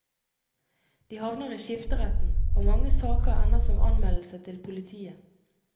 De havner i skifteretten, og mange saker ender som anmeldelse til politiet.